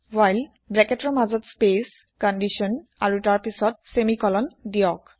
while ব্ৰেকেতৰ মাজত space condition াৰু তাৰপিছত চেমি কলন দিয়ক